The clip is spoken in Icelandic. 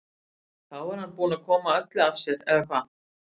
Þá er hann búinn að koma öllu af sér eða hvað?